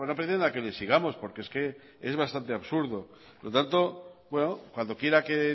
pretenda que le sigamos porque es que es bastante absurdo por lo tanto cuando quiera que